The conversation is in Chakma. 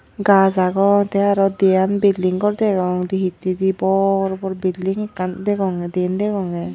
Gaaj agon te aro diyan building gor degong dee hittendi bor bor building ekkan degonge diyen degonge.